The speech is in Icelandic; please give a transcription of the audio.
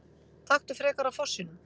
Taktu frekar af fossinum!